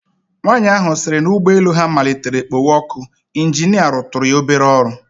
Nwanyị ahụ sịrị na ụgbọelu ha matlitere kpowe ọkụ, ịnjinịa rụtụrụ ya obere ọrụ